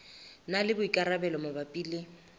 na le boikarabelo mabapi le